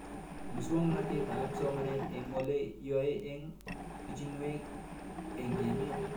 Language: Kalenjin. Muswog'natet ab somanet eng' ole yae eng' pichinwek eng' emet